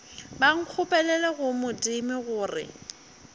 ba nkgopelele go modimo gore